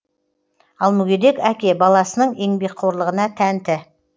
ал мүгедек әке баласының еңбекқорлығына тәнті